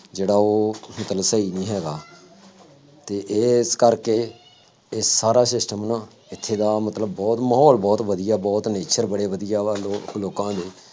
ਜਿਹੜਾ ਉਹ ਮਤਲਬ ਸਹੀ ਨਹੀਂ ਹੈਗਾ ਅਤੇ ਇਸ ਕਰਕੇ ਇਹ ਸਾਰਾ system ਨਾ ਇੱਥੇ ਦਾ ਮਤਲਬ ਬਹੁਤ ਮਾਹੌਲ ਬਹੁਤ ਵਧੀਆ, ਬਹੁਤ ਨਿੱਛਰ, ਬੜੇ ਵਧੀਆ ਵਾ ਲੋਕ ਲੋਕਾਂ ਦੇ